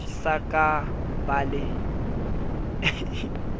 sa ka ka ba le